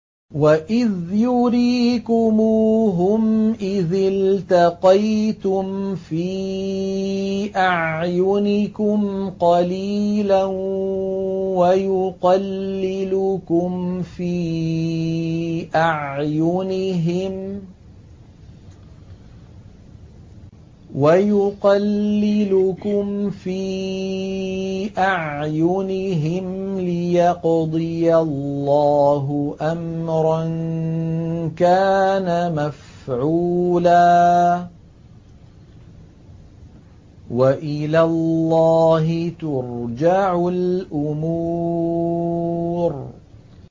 وَإِذْ يُرِيكُمُوهُمْ إِذِ الْتَقَيْتُمْ فِي أَعْيُنِكُمْ قَلِيلًا وَيُقَلِّلُكُمْ فِي أَعْيُنِهِمْ لِيَقْضِيَ اللَّهُ أَمْرًا كَانَ مَفْعُولًا ۗ وَإِلَى اللَّهِ تُرْجَعُ الْأُمُورُ